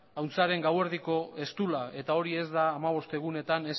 ahuntzaren gauerdiko eztula eta hori ez da hamabost egunetan